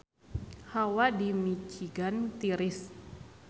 Hawa di Michigan tiris